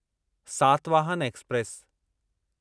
Satavahana express